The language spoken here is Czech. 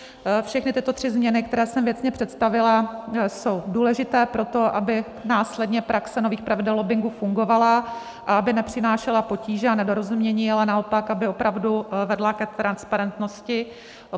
Všechny tyto tři změny, které jsem věcně představila, jsou důležité pro to, aby následně praxe nových pravidel lobbingu fungovala a aby nepřinášela potíže a nedorozumění, ale naopak aby opravdu vedla ke transparentnosti.